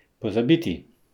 Pozabiti!